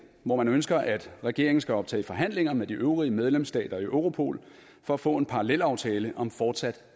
hvormed man ønsker at regeringen skal optage forhandlinger med de øvrige medlemsstater i europol for at få en parallelaftale om fortsat